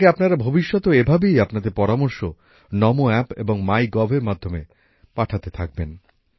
আমাকে আপনারা ভবিষ্যতেও এভাবেই আপনাদের পরামর্শ নমো অ্যাপ এবং মাই গভ এর মাধ্যমে পাঠাতে থাকবেন